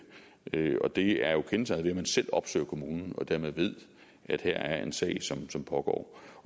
og det er jo kendetegnet man selv opsøger kommunen og dermed ved at her er en sag som pågår